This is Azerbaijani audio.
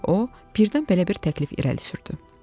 Sonra o birdən belə bir təklif irəli sürdü.